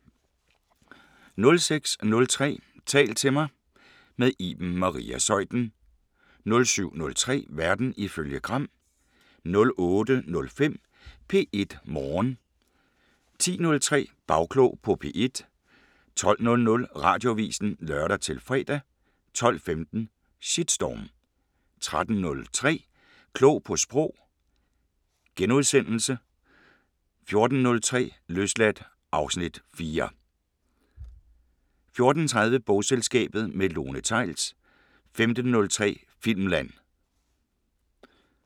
06:03: Tal til mig – med Iben Maria Zeuthen * 07:03: Verden ifølge Gram * 08:05: P1 Morgen 10:03: Bagklog på P1 12:00: Radioavisen (lør-fre) 12:15: Shitstorm 13:03: Klog på Sprog * 14:03: Løsladt (Afs. 4) 14:30: Bogselskabet – med Lone Theils 15:03: Filmland